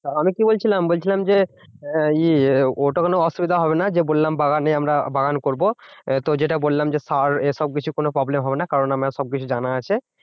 আমি কি বলছিলাম বলছিলাম যে ওটা কোনো অসুবিধা হবে না যে, বললাম বাগানে আমরা বাগান করবো আহ তো যেটা বললাম যে সার এসব কিছু problem হবে না। কারণ আমার সবকিছু জানা আছে।